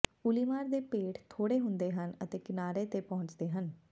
ਉੱਲੀਮਾਰ ਦੇ ਪੇਟ ਥੋੜੇ ਹੁੰਦੇ ਹਨ ਅਤੇ ਕਿਨਾਰੇ ਤੇ ਪਹੁੰਚਦੇ ਹਨ